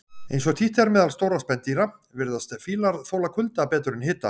Eins og títt er meðal stórra spendýra, virðast fílar þola kulda betur en hita.